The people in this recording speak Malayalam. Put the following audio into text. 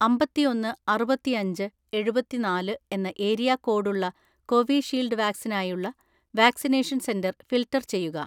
അമ്പത്തിഒന്ന് അറുപത്തിഅഞ്ച് എഴുപത്തിനാല് എന്ന ഏരിയ കോഡ് ഉള്ള കോവിഷീൽഡ് വാക്സിനിനായുള്ള വാക്സിനേഷൻ സെന്റർ ഫിൽട്ടർ ചെയ്യുക.